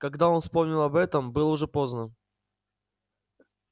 когда он вспомнил об этом было уже поздно